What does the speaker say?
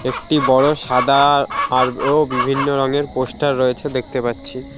একটি বড় সাদা আর আরো বিভিন্ন রঙের পোস্টার রয়েছে দেখতে পাচ্ছি।